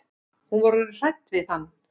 Hún var orðin hrædd við hann.